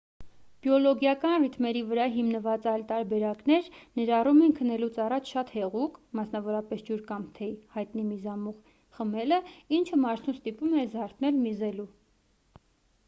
բիոլոգիական ռիթմերի վրա հիմնված այլ տարբերակներ ներառում են քնելուց առաջ շատ հեղուկ մասնավորապես՝ ջուր կամ թեյ հայտնի միզամուղ խմելը ինչը մարդուն ստիպում է զարթնել միզելու։